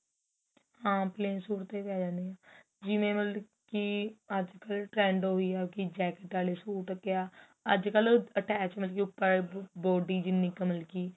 ਹਾਂ plane suit ਤੇ ਵੀ ਆਂ ਜਾਣਗੇ ਜਿਵੇਂ ਮਤਲਬ ਕਿ ਅੱਜ ਕੱਲ trend ਉਹੀ ਏ ਕਿ jacket ਵਾਲੇ ਸੂਟ ਕਿਆ ਅੱਜ ਕੱਲ attach ਮਤਲਬ ਉੱਪਰ body ਜਿੰਨੀ ਕਿ ਮਤਲਬ ਕਿ